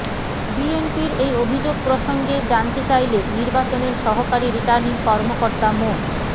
বিএনপির এই অভিযোগ প্রসঙ্গে জানতে চাইলে নির্বাচনের সহকারী রিটার্নিং কর্মকর্তা মো